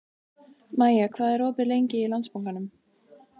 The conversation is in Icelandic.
Maja, hvað er opið lengi í Landsbankanum?